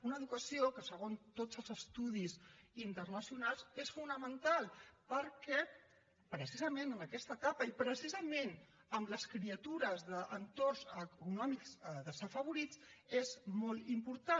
una educació que segons tots els estudis internacionals és fonamental perquè precisament en aquesta etapa i precisament en les criatures d’entorns econòmics desafavorits és molt important